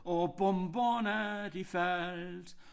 Og de bomberne de faldt